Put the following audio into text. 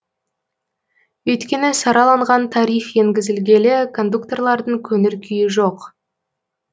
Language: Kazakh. өйткені сараланған тариф енгізілгелі кондукторлардың көңіл күйі жоқ